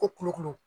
Ko kulukutu